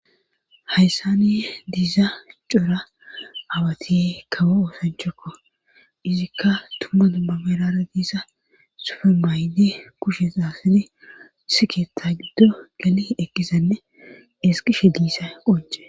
hayssani diiza cora awatiye kawo oosanchokko izikka tumma tumma berara diisa sufe mayde kushe xaasine siketta giddo geli ekisanne esqishe diissa qonce